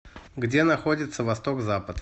где находится восток запад